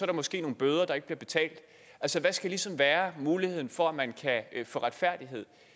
er måske nogle bøder der ikke bliver betalt altså hvad skal ligesom være muligheden for at man kan få retfærdighed